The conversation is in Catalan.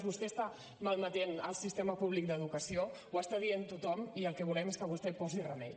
vostè està malmetent el sistema públic d’educació ho està dient tothom i el que volem és que vostè hi posi remei